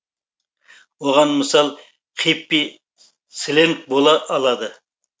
оған мысал хиппи сленгі бола алады